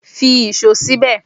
Fi íṣo síbè!